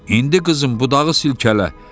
İndi qızım budağı silkələ.